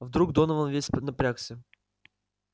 вдруг донован весь поднапрягся